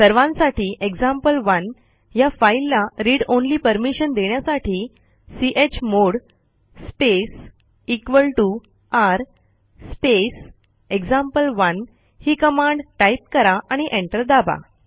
सर्वांसाठी एक्झाम्पल1 ह्या फाईलला read ऑनली परमिशन देण्यासाठी chmod space r space example one ही कमांड टाईप करा आणि एंटर दाबा